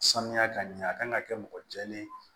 Sanuya ka ɲɛ a kan ka kɛ mɔgɔ jɛlen ye